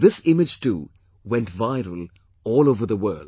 And this image too went viral all over the world